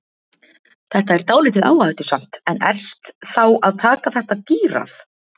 Þetta er dálítið áhættusamt en ert þá að taka þetta gírað?